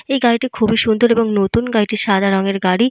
এই গাড়িটি খুব এই সুন্দর এবং নতুন। গাড়িটি সাদা রং এর গাড়ি।